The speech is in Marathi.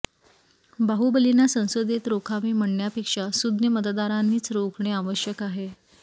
बाहुबलीना संसदेने रोखावे म्हणण्यापेक्षा सुज्ञ मतदारांनीच रोखणे आवश्यक आहे